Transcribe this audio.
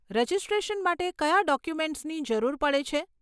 Registration માટે કયાં ડોક્યુમેન્ટસની જરૂર પડે છે?